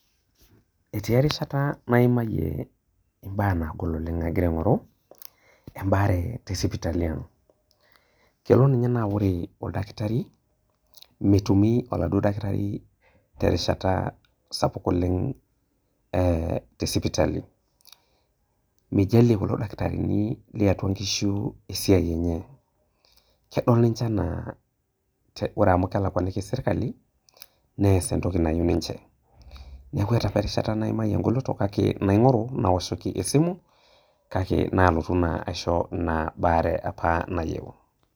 Etii erishata naimayie mbaa nagol agira aingoru embaare tesipitali, kelo nye na ore oldakitari metumi oladuo dakitari terishata sapuk te sipitali, mijalie kulo dakitarini tiatua nkishu esiai enye ,kedol nche enaa ore amu kelakwakini serkeli neas entoki nayieu ninche ,neaku eeata apa nkolongi naimayie ngoloto, naingoru naoshoki esimu, kake nalotu naa aisho baare apa nayieu.